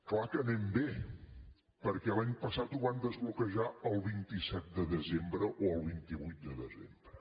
clar que anem bé perquè l’any passat ho van desbloquejar el vint set de desembre o el vint vuit de desembre